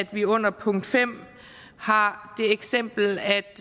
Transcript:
vi under punkt fem har det eksempel at